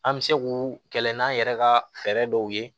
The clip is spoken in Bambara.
An bɛ se k'u kɛlɛ n'an yɛrɛ ka fɛɛrɛ dɔw ye